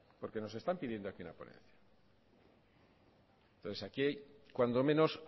porque nos están pidiendo aquí una ponencia entonces aquí hay cuando menos